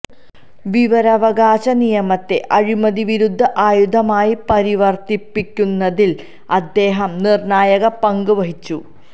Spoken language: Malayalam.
വിവരാവകാശ നിയമത്തെ അഴിമതിവിരുദ്ധ ആയുധമായി പരിവര്ത്തിപ്പിക്കുന്നതില് അദ്ദേഹം നിര്ണായക പങ്ക് വഹിച്ചു